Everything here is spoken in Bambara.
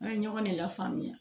An ye ɲɔgɔn de lafaamuya